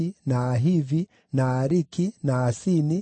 na Ahivi, na Aariki, na Asini,